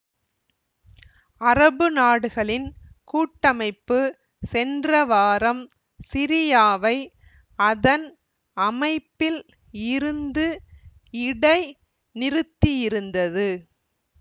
அரபு நாடுகளின் கூட்டமைப்பு சென்ற வாரம் சிரியாவை அதன் அமைப்பில் இருந்து இடைநிறுத்தியிருந்தது